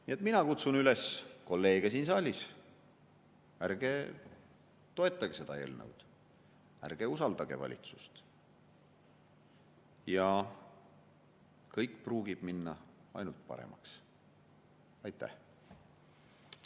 Nii et mina kutsun üles kolleege siin saalis: ärge toetage seda eelnõu, ärge usaldage valitsust, ja kõik läheb ainult paremaks!